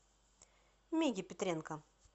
миге петренко